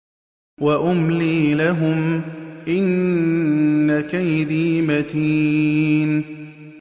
وَأُمْلِي لَهُمْ ۚ إِنَّ كَيْدِي مَتِينٌ